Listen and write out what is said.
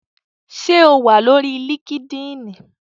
Ṣé o wà lórí líkídíìnì?